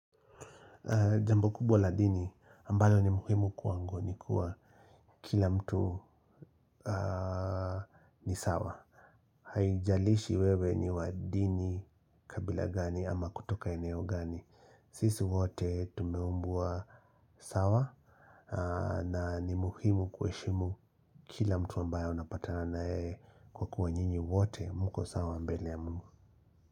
Jambu kubwa la dini ambalo ni muhimu kwangu ni kuwa kila mtu ni sawa. Haijalishi wewe ni wa dini kabila gani ama kutoka eneo gani. Sisi wote tumeumbwa sawa na ni muhimu kuheshimu kila mtu ambayo unapatana na yeye kwa kuwa nyinyi wote mko sawa mbele ya mungu.